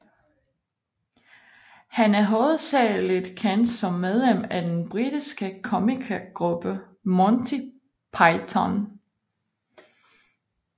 Han er hovedsagligt kendt som medlem af den britiske komikergruppe Monty Python